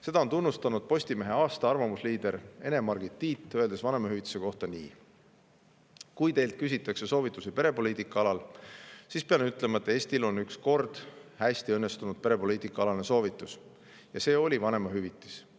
Seda on tunnustanud Postimehe aasta arvamusliider Ene-Margit Tiit, öeldes vanemahüvitise kohta nii: "Kui teilt küsitakse soovitusi perepoliitika alal, siis pean ütlema, et Eestil on üks kord hästi õnnestunud perepoliitika alane soovitus – ja see oli vanemahüvitis.